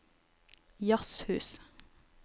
jazzhus